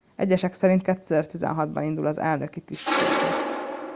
egyesek szerint 2016 ban indul az elnöki tisztségért